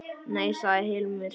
Nei, sagði Hilmar.